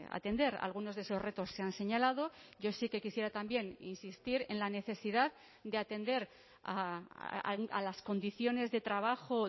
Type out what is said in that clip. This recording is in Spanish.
atender algunos de esos retos se han señalado yo sí que quisiera también insistir en la necesidad de atender a las condiciones de trabajo